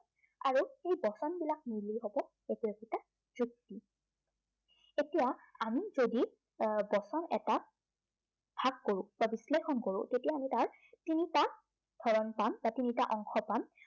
আৰু এই বচনবিলাক মিলিকেনে হব একো একোটা যুক্তি। এতিয়া আমি যদি আহ বচন এটা ভাগ কৰো বা বিশ্লেষণ কৰো, তেতিয়া আমি তাক, তিনিটা হৰণ পাম বা তিনিটা অংশ পাম।